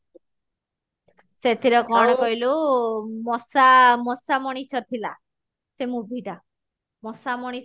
ସେଥିରେ କଣ କହିଲୁ ମଶା ମଶା ମଣିଷ ଥିଲା ସେ movie ଟା ମଶା ମଣିଷ ରେ